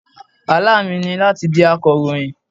Àlá mi ni láti di akọ̀ròyìn.